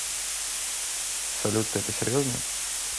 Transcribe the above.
салют ты это серьезно